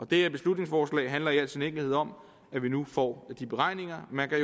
det her beslutningsforslag handler i al sin enkelhed om at vi nu får de beregninger man kan